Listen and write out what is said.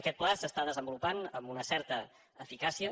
aquest pla s’està desenvolupant amb una certa eficàcia